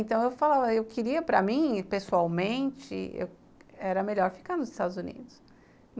Então, eu falava, eu queria para mim, pessoalmente, era melhor ficar nos Estados Unidos.